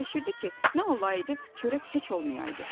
Fikirləşirdi ki, nə olaydı, çörək heç olmayaydı.